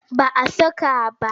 Ba a saka ba.